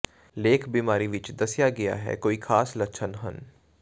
ਲੇਖ ਬਿਮਾਰੀ ਵਿੱਚ ਦੱਸਿਆ ਗਿਆ ਹੈ ਕੋਈ ਖਾਸ ਲੱਛਣ ਹਨ